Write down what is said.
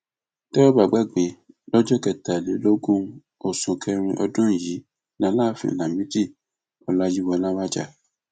tẹ ò bá gbàgbé lọjọ kẹtàlélógún oṣù kẹrin ọdún yìí làlááfíń lamidi ọláyíwọlá wájà